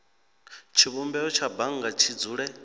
tshivhumbeo tsha bannga tshi dzule